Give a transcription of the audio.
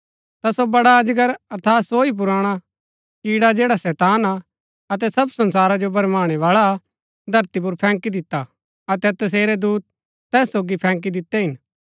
ता सो बड़ा अजगर अर्थात सो ही पुराणा किड्डा जैड़ा शैतान हा अतै सब संसारा जो भरमाणै बाळा हा धरती पुर फैंकी दिता हा अतै तसेरै दूत तैस सोगी फैंकी दितै हिन